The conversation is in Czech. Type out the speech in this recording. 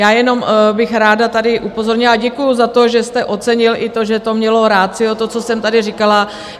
Já jenom bych ráda tady upozornila, a děkuji za to, že jste ocenil i to, že to mělo ratio, to, co jsem tady říkala.